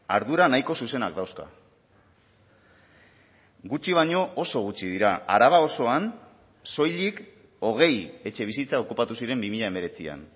ardura nahiko zuzenak dauzka gutxi baino oso gutxi dira araba osoan soilik hogei etxebizitza okupatu ziren bi mila hemeretzian